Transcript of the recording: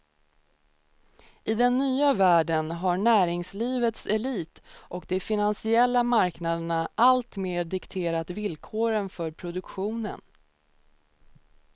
I den nya världen har näringslivets elit och de finansiella marknaderna alltmer dikterat villkoren för produktionen.